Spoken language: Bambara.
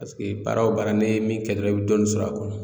baara o baara n'i ye min kɛ dɔrɔn i bɛ dɔɔnin sɔrɔ a kɔnɔ